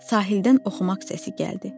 Sahildən oxumaq səsi gəldi.